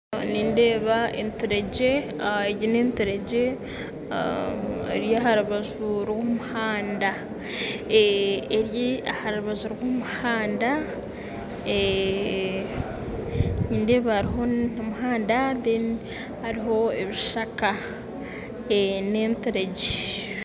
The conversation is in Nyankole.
Nindeeba enturegye, egi neeturegye eri aha rubaju rw'omuhanda, nindeeba hariho omuhanda kandi hariho n'ebishaka, n'enturegye